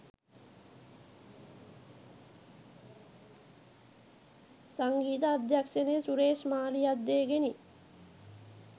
සංගීත අධ්‍යක්‍ෂණය සුරේෂ් මාලියද්දේ ගෙනි